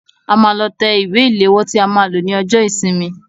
A máa lọ tẹ ìwé ìléwọ́ tí a máa lò ní ọjọ́ ìsinmi.